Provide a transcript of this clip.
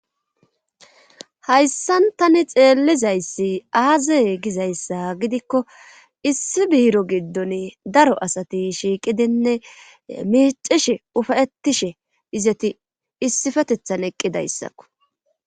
Hayssan tani xeellizayssi aazey gizayssa gidikko issi biiro giddon daro asati shiiqidinne mecishe ufayettishe izati issifetethan eqqidayssakko.